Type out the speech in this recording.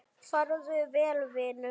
Farðu vel, vinur.